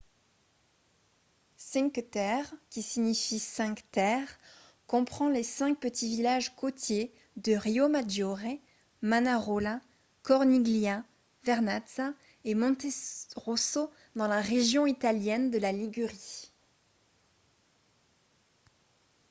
cinque terre qui signifie cinq terres comprend les cinq petits villages côtiers de riomaggiore manarola corniglia vernazza et monterosso dans la région italienne de la ligurie